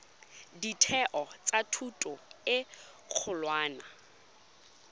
ditheo tsa thuto e kgolwane